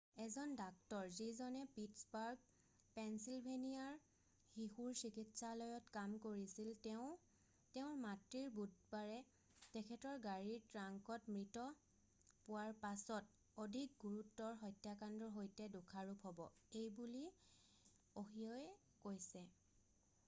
এজন ডাক্টৰ যিজনে পিটছবাৰ্গ পেঞ্চিলভেনিয়াৰ শিশুৰ চিকিৎসালয়ত কাম কৰিছিল তেওঁ তেওঁৰ মাতৃৰ বুধবাৰে তেখেতৰ গাড়ীৰ ট্ৰাংকত মৃত পোৱাৰ পাছত অধিক গুৰুতৰ হত্যাকাণ্ডৰ সৈতে দোষাৰোপ হ'ব এইবুলিঅ'হিঅ'য়ে কৈছে৷